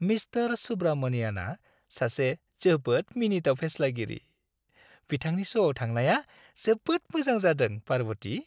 Mister सुब्रमनियानआ सासे जोबोद मिनिथाव फेस्लागिरि। बिथांनि श'आव थांनाया जोबोद मोजां जादों, पार्बथि।